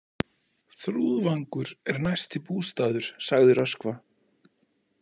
Þrúðvangur er næsti bústaður, sagði Röskva.